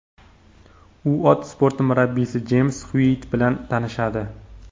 U ot sporti murabbiysi Jeyms Xyuitt bilan tanishadi.